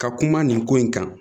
Ka kuma nin ko in kan